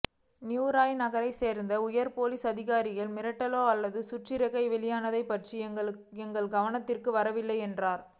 New York நகரை சேர்ந்த உயர் போலீஸ் அதிகாரிகளோ மிரட்டல் அல்லது சுற்றறிக்கை வெளியானது பற்றி எங்கள் கவனத்துக்கு வரவில்லை என்றனர்